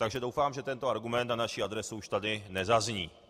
Takže doufám, že tento argument na naši adresu už tady nezazní.